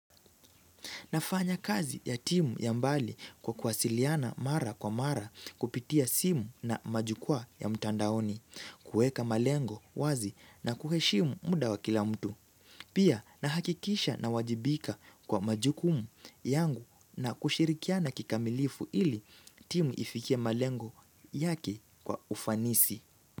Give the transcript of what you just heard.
Nafanya kazi ya timu ya mbali kwa kuwasiliana mara kwa mara kupitia simu na majukwaa ya mtandaoni, kuweka malengo wazi na kuheshimu muda wa kila mtu. Pia nahakikisha nawajibika kwa majukumu yangu na kushirikiana kikamilifu ili timu ifikie malengo yake kwa ufanisi.